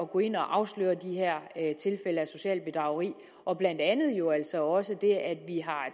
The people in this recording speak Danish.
gå ind og afsløre de her tilfælde af socialt bedrageri og blandt andet jo altså også det at vi har